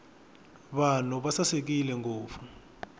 vanhu va sasekile ngopfu